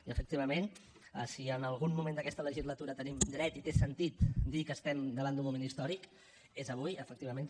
i efectivament si en algun moment d’aquesta legislatura tenim dret i té sentit dir que estem davant d’un moment històric és avui efectivament